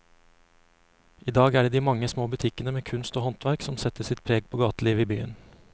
I dag er det de mange små butikkene med kunst og håndverk som setter sitt preg på gatelivet i byen.